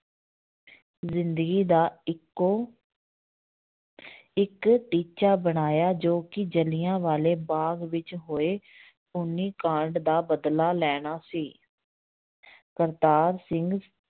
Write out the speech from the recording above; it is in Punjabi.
ਜ਼ਿੰਦਗੀ ਦਾ ਇੱਕੋ ਇੱਕ ਟੀਚਾ ਬਣਾਇਆ ਜੋ ਕਿ ਜਿਲ੍ਹਿਆਂ ਵਾਲੇ ਬਾਗ਼ ਵਿੱਚ ਹੋਏ ਖੂਨੀ ਕਾਂਡ ਦਾ ਬਦਲਾ ਲੈਣਾ ਸੀ ਕਰਤਾਰ ਸਿੰਘ